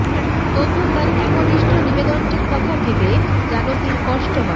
তবু তার একনিষ্ঠ নিবেদনটির কথা ভেবে জানকীর কষ্ট হয়